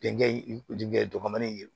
Denkɛ dɔgɔmani